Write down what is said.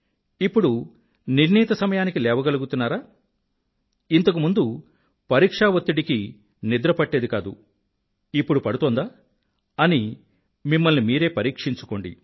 ఇప్పుడు నిర్ణీతసమయానికి లేవగలుగుతున్నారా ఇంతకు ముందు పరీక్షా వత్తిడికి నిద్ర పట్టేది కాదు ఇప్పుడు పడుతోందా అని మిమ్మల్ని మీరే పరీక్షించుకోండి